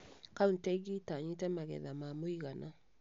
Kauntĩ ingĩ itanyĩte magetha ma mũigana